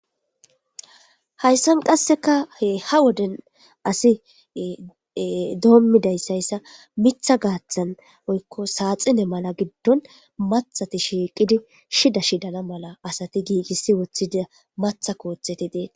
Hayssan qasseka he ha woden asi doommidayssayssa mitha gaaththan woykko saaxine mala giddon mathati shiiqidi shida shidana mala asati giigissi woththida matha kootheti dee